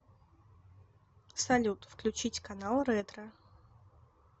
салют включить канал ретро